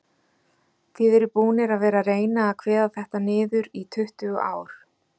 Þið eruð búnir að vera reyna að kveða þetta niður í tuttugu ár?